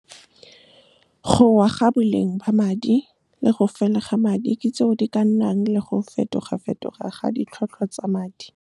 Go wa ga boleng ba madi, le go fela ga madi, tseo di ka nnang le go fetoga-fetoga ga ditlhwatlhwa tsa madi. Go wa ga boleng ba madi, le go fela ga madi, tseo di ka nnang le go fetoga-fetoga ga ditlhwatlhwa tsa madi.